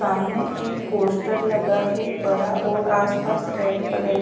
सामने एक पोस्टर लगा है बड़ा और आसपास रेड कलर की--